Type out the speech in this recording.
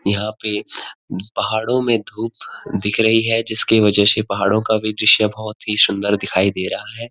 यहाँ पे पहाड़ों में धूप दिख रही है जिसके वजे से पहाड़ों का भी दृश्या बहुत ही सुंदर दिखई दे रहा है।